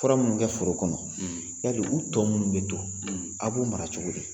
Fura minnu kɛ foro kɔnɔ, , yali u tɔ minnu bɛ to, a b'u mara cogo di?